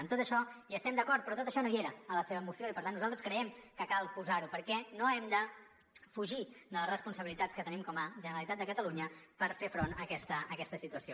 en tot això hi estem d’acord però tot això no hi era en la seva moció i per tant nosaltres creiem que cal posar ho perquè no hem de fugir de les responsabilitats que tenim com a generalitat de catalunya per fer front a aquesta situació